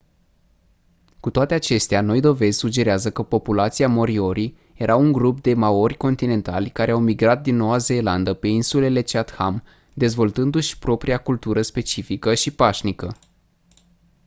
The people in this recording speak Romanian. cu toate acestea noi dovezi sugerează că populația moriori era un grup de maori continentali care au migrat din noua zeelandă pe insulele chatham dezvoltându-și propria cultură specifică și pașnică